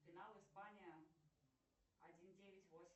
финал испания один девять восемь